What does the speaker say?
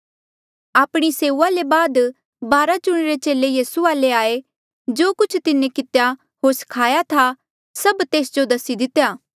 आपणी सेऊआ ले बाद बारा चुणिरे चेले यीसू वाले आये जो कुछ तिन्हें कितेया होर स्खाया था सब तेस जो दसी दितेया